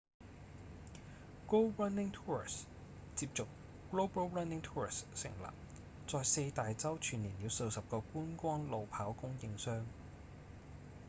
go running tours 接續 global running tours 成立在四大洲串連了數十個觀光路跑供應商